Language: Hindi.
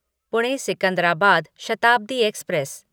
पुणे सिकंदराबाद शताब्दी एक्सप्रेस